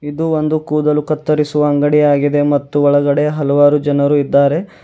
ಇದು ಒಂದು ಕೂದಲು ಕತ್ತರಿಸುವ ಅಂಗಡಿಯಾಗಿದೆ ಮತ್ತು ಒಳಗಡೆ ಹಲವಾರು ಜನರು ಇದ್ದಾರೆ.